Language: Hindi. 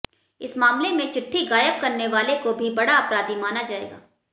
इस मामले में चिट्ठी गायब करने वाले को भी बड़ा अपराधी माना जाएगा